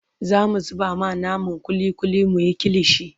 zamu zuba ma naman kulli kulli muyi kilishi